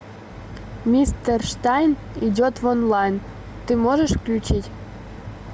мистер штайн идет в онлайн ты можешь включить